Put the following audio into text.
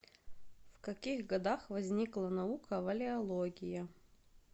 в каких годах возникла наука валеология